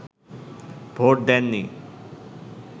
vote দেননি